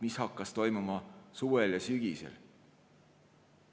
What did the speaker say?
Mis hakkas toimuma suvel ja sügisel?